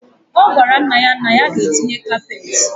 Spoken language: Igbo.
Ogwara nna ya na ya ga etinye kapet.